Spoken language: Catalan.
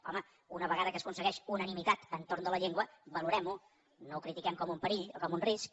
home una vegada que s’aconsegueix unanimitat entorn de la llengua valorem ho no ho critiquem com un perill o com un risc